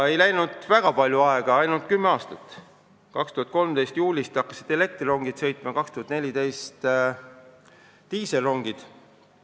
Ei läinud väga palju aega, ainult kümme aastat, kui juulis 2013 hakkasid elektrirongid sõitma, aastal 2014 diiselrongid.